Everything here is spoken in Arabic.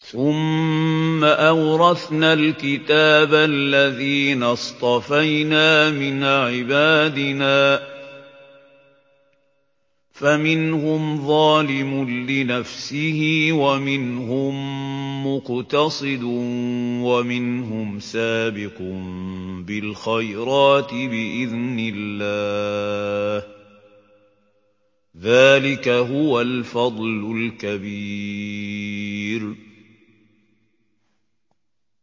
ثُمَّ أَوْرَثْنَا الْكِتَابَ الَّذِينَ اصْطَفَيْنَا مِنْ عِبَادِنَا ۖ فَمِنْهُمْ ظَالِمٌ لِّنَفْسِهِ وَمِنْهُم مُّقْتَصِدٌ وَمِنْهُمْ سَابِقٌ بِالْخَيْرَاتِ بِإِذْنِ اللَّهِ ۚ ذَٰلِكَ هُوَ الْفَضْلُ الْكَبِيرُ